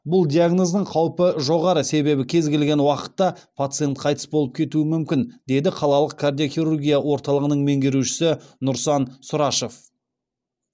бұл диагноздың қаупі жоғары себебі кез келген уақытта пациент қайтыс болып кетуі мүмкін деді қалалық кардиохирургия орталығының меңгерушісі нұрсан сұрашев